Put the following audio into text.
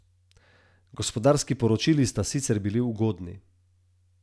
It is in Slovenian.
Gospodarski poročili sta sicer bili ugodni.